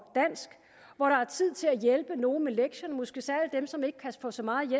hvor der er tid til at hjælpe nogen med lektierne måske særligt dem som ikke kan få så meget